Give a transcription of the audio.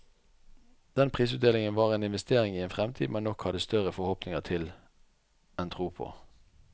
Den prisutdelingen var en investering i en fremtid man nok hadde større forhåpninger til enn tro på.